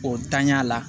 O tanya la